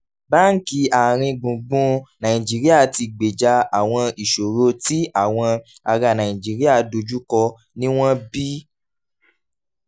báńkì àárín gbùngbùn nàìjíríà ti gbèjà àwọn ìṣòro tí àwọn ará nàìjíríà dojú kọ níwọ̀n bí